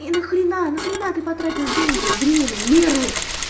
и нахрена нахрена ты потратил деньги время нервы